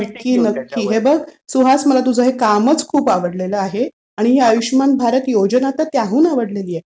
नक्की. नक्की. हे बघ सुहास मला तुझं हे कामच खूप आवडलेलं आहे आणि त्याहून ही आयुष्यमान भारत योजना अधिक आवडली आहे.